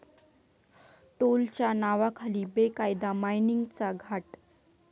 टोलच्या नावाखाली बेकायदा मायनिंगचा घाट